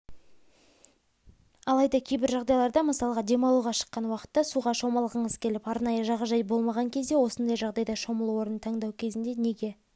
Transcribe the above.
алайда кейбір жағдайларда мысалға демалуға шыққан уақытта суға шомылғыңыз келіп арнайы жағажай болмаған кезде осындай жағдайда шомылу орнын таңдау кезінде неге